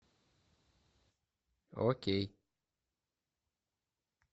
окей